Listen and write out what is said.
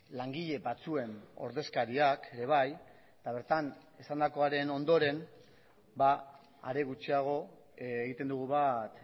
langile batzuen ordezkariak ere bai eta bertan esandakoaren ondoren are gutxiago egiten dugu bat